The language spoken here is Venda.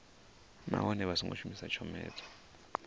nahone vha songo shumisa tshomedzo